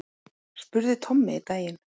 spurði Tommi einn daginn.